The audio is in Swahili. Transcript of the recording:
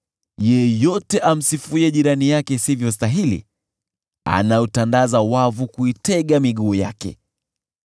Yeyote amsifuye jirani yake isivyostahili, anautandaza wavu kuitega miguu yake.